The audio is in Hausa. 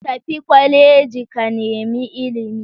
Tafi kwaleji ka nemi ilimi